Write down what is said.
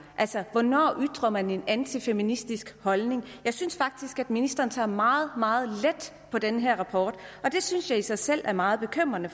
altså hvornår ytrer man en antifeministisk holdning jeg synes faktisk at ministeren tager meget meget let på den her rapport og det synes jeg i sig selv er meget bekymrende